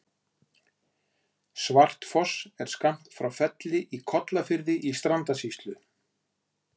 Svartfoss er skammt frá Felli í Kollafirði í Strandasýslu.